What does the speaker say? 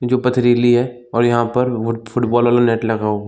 जो पथरीली है और यहाँ पर वो फुटबॉल वाला नेट लगा --